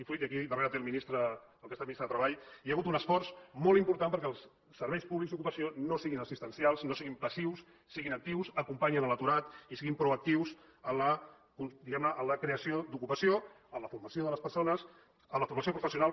aquí darrere té el ministre el que ha estat ministre de treball hi ha hagut un esforç molt important perquè els serveis públics d’ocupació no siguin assistencials no siguin passius siguin actius acompanyin l’aturat i siguin proactius diguem ne a la creació d’ocupació en la formació de les persones en la formació professional